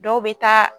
Dɔw bɛ taa